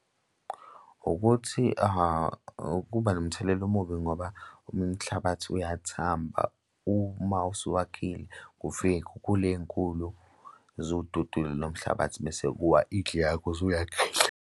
Ukuthi ukuba nomthelela omubi ngoba umhlabathi uyathamba uma usuwakhile kufike iy'khukhula ey'nkulu zuwududule lo mhlabathi, bese kuwa indlu yakho osuyakhile.